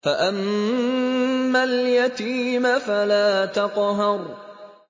فَأَمَّا الْيَتِيمَ فَلَا تَقْهَرْ